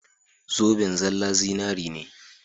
Zoben zallan zinari ne.